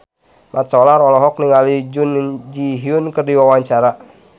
Mat Solar olohok ningali Jun Ji Hyun keur diwawancara